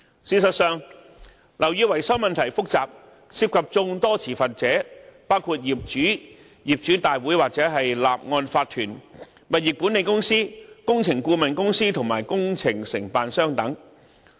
事實上，樓宇維修問題複雜，涉及眾多持份者，包括業主、業主大會或法團、物業管理公司、工程顧問公司和工程承辦商等。